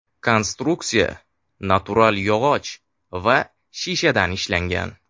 Konstruksiya natural yog‘och va shishadan ishlangan.